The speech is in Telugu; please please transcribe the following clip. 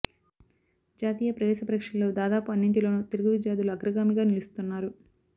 జాతీయ ప్రవేశ పరీక్షల్లో దాదాపు అన్నింటిలోనూ తెలుగు విద్యార్థులు అగ్రగామిగా నిలుస్తున్నారు